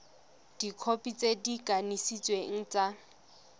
dikhopi tse di kanisitsweng tsa